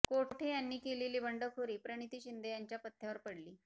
कोठे यांनी केलेली बंडखोरी प्रणिती शिंदे यांच्या पथ्यावर पडली